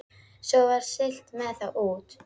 Svo var siglt með þá út.